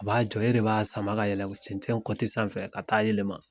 A b'a jɔ. E de b'a sama ka yɛlɛm cɛncɛn kɔti sanfɛ ka taa a yɛlɛma.